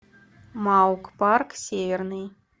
маук парк северный